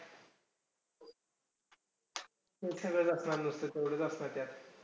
हे सगळं असणार, नुसतं तेवढंच असणार त्यात.